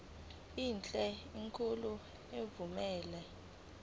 enhle enkulu evumela